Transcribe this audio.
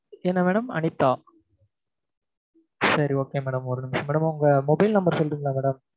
என்ன madam அனிதா சரி okay madam ஒரு நிமிஷம் madam உங்க mobile number சொல்றீங்களா madam